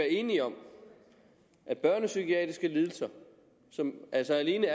enige om at børnepsykiatriske lidelser som altså alene